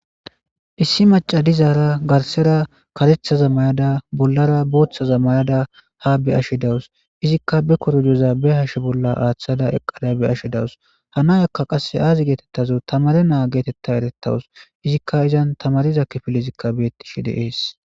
Issi macadizaara garsera katethaza may7ada bollara booththaza may7ada ha be ashi dawus izikka be korojoza be hashe bolla aaththada eqqada be ashe dawus hanay akka qasse aazi geetettazo tamare naa geetetta erettawus izikka izan tamariza kifillizikka beettishe de ees.